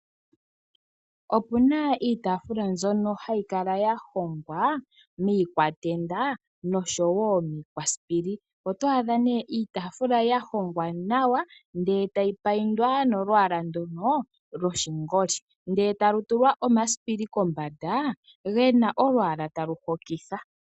Opuna iitaafula mbyono hayi kala ya hongwa miikwatenda noshowo miikwasipili, otwa adha nee iitaafula ya hongwa nawa ndele etayi paindwa nolwaala ndono loshingoli, ndele talu tulwa omasipili kombanda gena olwaala talu hokitha.